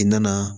I nana